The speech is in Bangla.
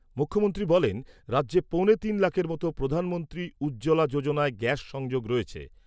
মুখ্যমন্ত্রী বলেন, রাজ্যে পৌনে তিন লাখের মতো প্রধানমন্ত্রী উজ্জ্বলা যোজনায় গ্যাস সংযোগ রয়েছে।